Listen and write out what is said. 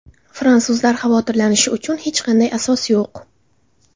Fransuzlar xavotirlanishi uchun hech qanday asos yo‘q.